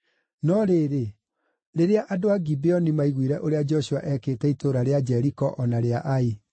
No rĩrĩ, rĩrĩa andũ a Gibeoni maaiguire ũrĩa Joshua ekĩte itũũra rĩa Jeriko o na rĩa Ai,